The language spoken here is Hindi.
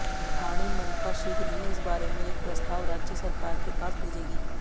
ठाणे मनपा शीघ्र ही इस बारे में एक प्रस्ताव राज्य सरकार के पास भेजेगी